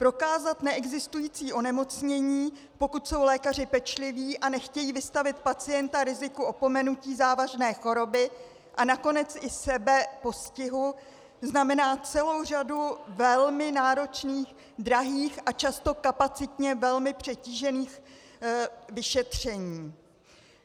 Prokázat neexistující onemocnění, pokud jsou lékaři pečliví a nechtějí vystavit pacienta riziku opomenutí závažné choroby a nakonec i sebe postihu, znamená celou řadu velmi náročných, drahých a často kapacitně velmi přetížených vyšetření.